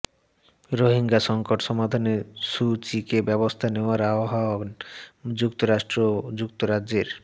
রোহিঙ্গা সংকট সমাধানে সু চিকে ব্যবস্থা নেওয়ার আহ্বান যুক্তরাষ্ট্র ও যুক্তরাজ্যের